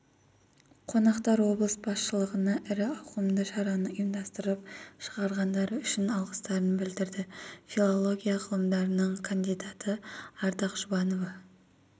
қонақтар облыс басшылығына ірі ауқымды шараны ұйымдастырып шақырғандары үшін алғыстарын білдірді филология ғылымдарының кандидаты ардақ жұбанова